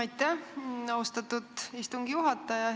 Aitäh, austatud istungi juhataja!